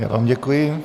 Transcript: Já vám děkuji.